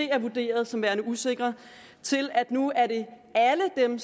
er vurderet som værende usikre til at nu er det alle dem